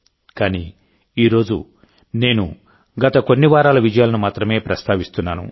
కానీఈ రోజునేను గత కొన్ని వారాల విజయాలను మాత్రమే ప్రస్తావిస్తున్నాను